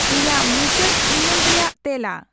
ᱤᱧᱟᱹᱜ ᱢᱩᱪᱟᱹᱫ ᱤᱢᱮᱞ ᱨᱮᱭᱟᱜ ᱛᱮᱞᱟ